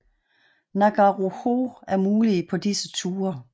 Ngauruhoe er mulige på disse ture